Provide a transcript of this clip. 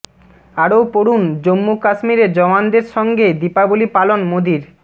আরও পড়ুন জম্মু কাশ্মীরে জওয়ানদের সঙ্গে দীপাবলী পালন মোদীর